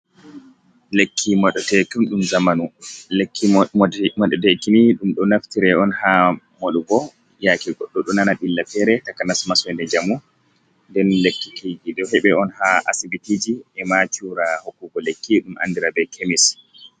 Lekki maɗutaki zamanu lekki madutaki ni ɗum ɗo naftire on ha moɗugo ,yake goɗɗo ɗo nana ɓilla fere taka nasmasnɗe jamu ,nɗen lekkitiji ɗo heɓa on ha asiɓitiji e ma cura hokkugo lekki ɗum andira ɓe kemis.